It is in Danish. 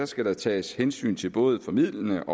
skal der tages hensyn til både formildende